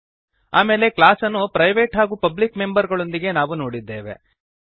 ಆಮೇಲೆ ಕ್ಲಾಸ್ ಅನ್ನು ಪ್ರೈವೇಟ್ ಹಾಗೂ ಪಬ್ಲಿಕ್ ಮೆಂಬರ್ ಗಳೊಂದಿಗೆ ನಾವು ನೋಡಿದ್ದೇವೆ